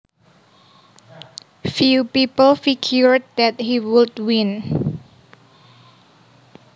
Few people figured that he would win